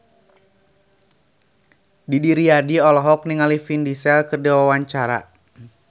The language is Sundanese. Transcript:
Didi Riyadi olohok ningali Vin Diesel keur diwawancara